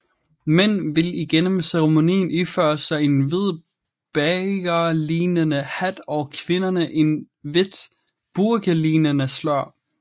Mænd vil igennem ceremonien iføre sig en hvid bagerlignende hat og kvinderne et hvidt burkalignende slør